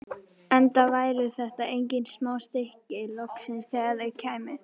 Enda væru þetta engin smá stykki, loksins þegar þau kæmu.